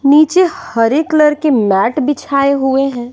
नीचे हरे कलर के मैट बिछाए हुए हैं।